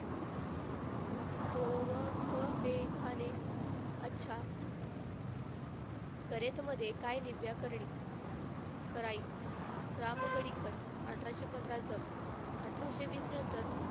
तो व ने अच्छा. करेत मध्ये काय निव्या करणी कराई रामगढी अठराशे पंधराचं. अठराशे वीस नंतर,